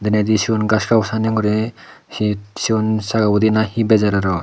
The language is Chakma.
endi siyon gori he seyon saja guri na he bajar arow.